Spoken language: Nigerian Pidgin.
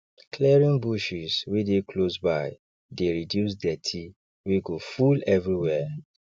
clearing bushes wey dey closeby dey reduce dirty wey go full everywhere